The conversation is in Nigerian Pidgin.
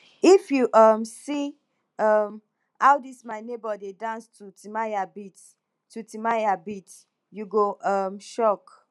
if you um see um how dis my nebor dey dance to timaya beats to timaya beats you go um shock